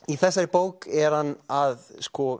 í þessari bók er hann að